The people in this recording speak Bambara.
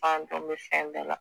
Bandon bɛ fɛn bɛɛ la.